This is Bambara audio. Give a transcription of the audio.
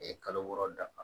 kalo wɔɔrɔ dafa